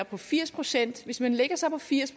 på firs procent hvis man lægger sig på firs